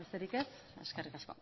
besterik ez eskerrik asko